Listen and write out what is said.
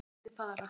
Ég mátti fara.